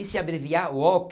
E se abreviar Walker,